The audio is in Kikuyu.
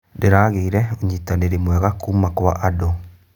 Ndĩragĩire ũnyitanĩri mwega kuuma kwa andũ.